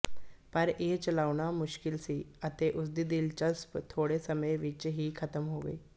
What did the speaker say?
ਪਰ ਇਹ ਚਲਾਉਣੀ ਮੁਸ਼ਕਲ ਸੀ ਅਤੇ ਉਸਦੀ ਦਿਲਚਸਪ ਥੋੜ੍ਹੇ ਸਮੇਂ ਵਿੱਚ ਹੀ ਖਤਮ ਹੋ ਗਈ